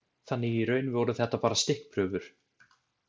Þannig að í raun voru þetta bara stikkprufur.